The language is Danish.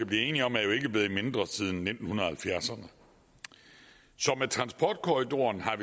blive enige om er jo ikke blevet mindre siden nitten halvfjerdserne så med transportkorridoren har